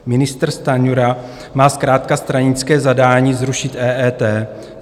Ministr Stanjura má zkrátka stranické zadání zrušit EET.